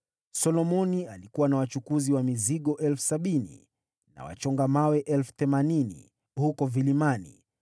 Solomoni alikuwa na wachukuzi wa mizigo 70,000 na wachonga mawe 80,000 huko vilimani,